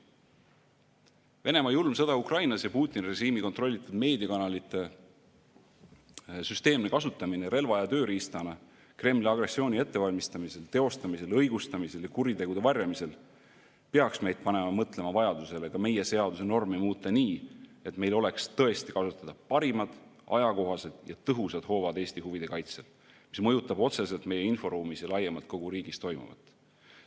Venemaa julm sõda Ukrainas ja Putini režiimi kontrollitud meediakanalite süsteemne kasutamine relva ja tööriistana Kremli agressiooni ettevalmistamisel, teostamisel, õigustamisel ja kuritegude varjamisel peaks meid panema mõtlema vajadusele ka meie seaduse normi muuta nii, et meil oleks tõesti kasutada parimad ajakohased ja tõhusad hoovad Eesti huvide kaitsel, mis mõjutab otseselt meie inforuumis ja laiemalt kogu riigis toimuvat.